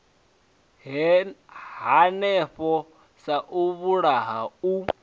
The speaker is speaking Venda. hanefho sa u vhulaha u